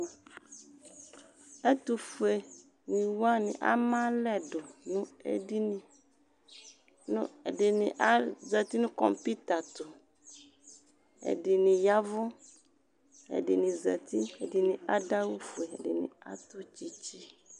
ɛtufɔniyani amalɛdu ɛdini azatɩ nu kɔpitatɔ ɛdini ɣavʊ ɛdini zati abʊ awufɛ nu tsɩtsɩ